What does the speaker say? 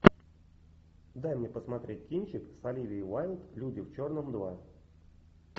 дай мне посмотреть кинчик с оливией уайлд люди в черном два